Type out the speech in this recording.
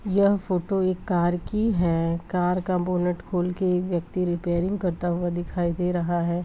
यह फोटो एक कार की है कार का बोनेट खोल कर एक व्यक्ति रेपैरिंग करता दिखाई दे रहा है।